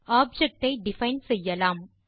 object ஐ define செய்யலாம்